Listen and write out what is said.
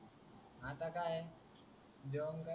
आता की आहे जेवण न.